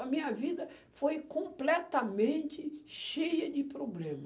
A minha vida foi completamente cheia de problema.